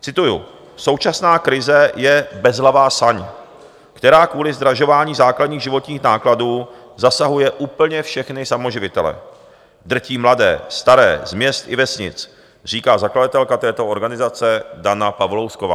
Cituji: "Současná krize je bezhlavá saň, která kvůli zdražování základních životních nákladů zasahuje úplně všechny samoživitele, drtí mladé, staré, z měst i vesnic," říká zakladatelka této organizace Dana Pavlousková.